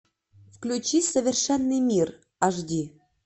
включи совершенный мир аш ди